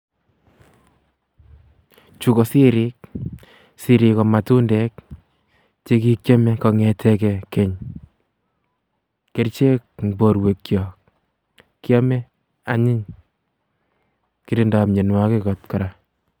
Chuu ko siriik, siriik ko matundek chekikiome kongetekee keny, kerichek en borwekiok, kiome anyiny, kirindo mionwokik oot kora.